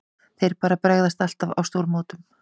Þeir bara bregðast alltaf á stórmótum.